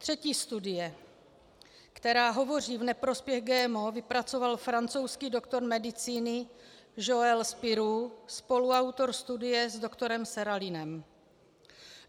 Třetí studii, která hovoří v neprospěch GMO, vypracoval francouzský doktor medicíny Joël Spiroux, spoluautor studie s doktorem Seralinem.